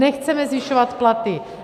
Nechceme zvyšovat platy.